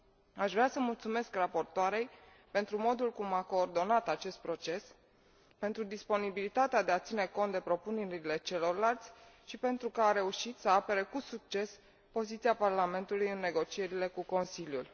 Aș vrea să mulțumesc raportoarei pentru modul cum a coordonat acest proces, pentru disponibilitatea de a ține cont de propunerile celorlalți și pentru că a reușit să apere cu succes poziția Parlamentului în negocierile cu Consiliul.